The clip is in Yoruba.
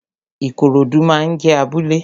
Ikorodu máa ń jé abúlé